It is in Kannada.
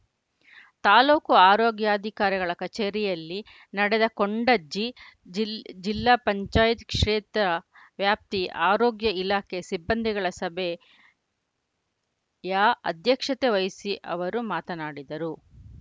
ತಾಲೂಕು ಆರೋಗ್ಯಾಧಿಕಾರಿಗಳ ಕಚೇರಿಯಲ್ಲಿ ನಡೆದ ಕೊಂಡಜ್ಜಿ ಜಿಲ್ ಜಿಲ್ಲಾ ಪಂಚಾಯತ್ ಕ್ಷೇತ್ರ ವ್ಯಾಪ್ತಿ ಆರೋಗ್ಯ ಇಲಾಖೆ ಸಿಬ್ಬಂದಿಗಳ ಸಭೆ ಯ ಅಧ್ಯಕ್ಷತೆ ವಹಿಸಿ ಅವರು ಮಾತನಾಡಿದರು